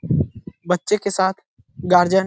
बच्चे के के साथ गार्जियन --